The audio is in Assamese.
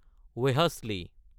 ৱেহাশলী